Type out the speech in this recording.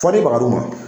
Fɔ ni bagadu ma